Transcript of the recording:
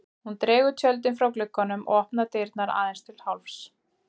Hún dregur tjöldin frá glugganum og opnar dyrnar aðeins til hálfs.